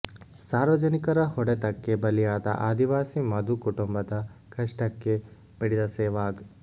ಸಾರ್ವಜನಿಕರ ಹೊಡೆತಕ್ಕೆ ಬಲಿಯಾದ ಆದಿವಾಸಿ ಮಧು ಕುಟುಂಬದ ಕಷ್ಟಕ್ಕೆ ಮಿಡಿದ ಸೆಹ್ವಾಗ್